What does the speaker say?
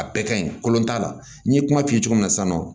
A bɛɛ ka ɲi kolon t'a la n ye kuma f'i ye cogo min na sisan nɔ